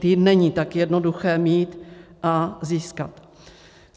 Ty není tak jednoduché mít a získat.